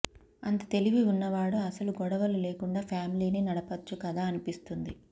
అంత తెలివి ఉన్నవాడు అసలు గొడవలు లేకుండా ఫ్యామిలీని నడపచ్చు కదా అనిపిస్తుంది